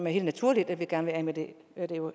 helt naturligt at vi gerne vil af med det